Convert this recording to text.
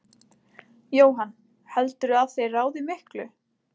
Jóhann: Heldurðu að þeir ráði miklu?